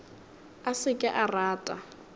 a se ke a rata